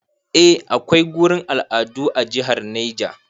A akwai gurin al'adu a jihar Neja